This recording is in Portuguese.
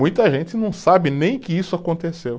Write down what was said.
Muita gente não sabe nem que isso aconteceu.